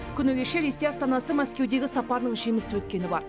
күні кеше ресей астанасы мәскеудегі сапарының жемісті өткені бар